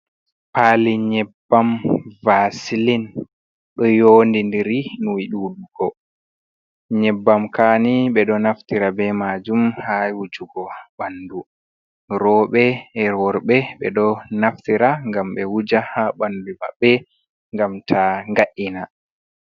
Pali nyebbam vasilin ɗo yondindiri ni ɗuɗugo nyebbam kani ɓe ɗo naftira be majum ha wujugo bandu, roɓe e worɓe ɓe ɗo naftira ngam be wuja ha bandu maɓɓe ngam ta nga’ina.